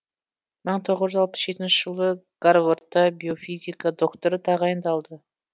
мың тоғыз жүз алпыс жетінші жылы гарвардта биофизика докторы тағайындалды